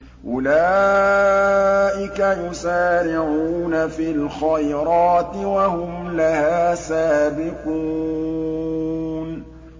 أُولَٰئِكَ يُسَارِعُونَ فِي الْخَيْرَاتِ وَهُمْ لَهَا سَابِقُونَ